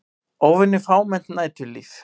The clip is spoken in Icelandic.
Óvenju fámennt næturlíf